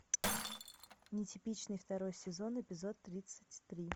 нетипичный второй сезон эпизод тридцать три